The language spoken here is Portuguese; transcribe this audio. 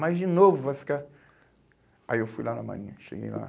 Mas de novo vai ficar... Aí eu fui lá na marinha, cheguei lá.